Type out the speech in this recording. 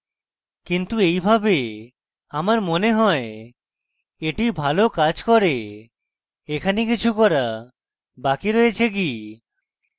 কিন্তু এইভাবে আমরা মনে হয় এটি ভালো কাজ করে এখানে কিছু করা বাকি রয়েছে কি